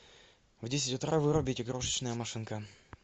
в десять утра вырубить игрушечная машинка